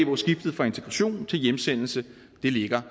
hvor skiftet fra integration til hjemsendelse ligger